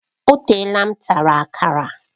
O teela m tara Akara